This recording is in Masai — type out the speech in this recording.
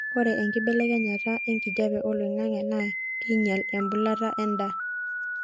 ore enkibelekenyataenkijape oloingangi naa keinyel embulata endaa